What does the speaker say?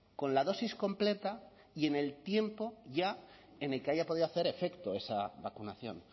con la dosis completa y en el tiempo ya en el que haya podido hacer efecto esa vacunación